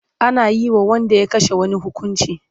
Ana yi wa wanda ya kashe wani hukuncin kisa.